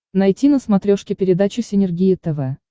найти на смотрешке передачу синергия тв